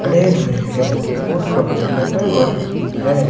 खड़े हुए हैं और पोस्ट ऑफिस लेटर बॉक्स भी है।